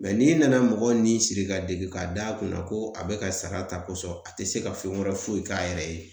n'i nana mɔgɔ ni siri ka degun k'a d'a kunna ko a bɛ ka sara ta kosɔn a tɛ se ka fɛn wɛrɛ foyi k'a yɛrɛ ye